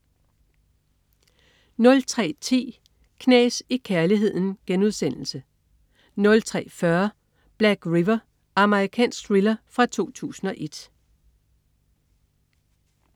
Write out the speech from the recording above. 03.10 Knas i kærligheden* 03.40 Black River. Amerikansk thriller fra 2001